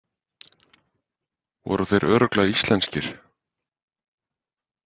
Voru þeir örugglega íslenskir?